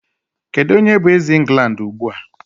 Kedu onye bụ eze England ugbu a?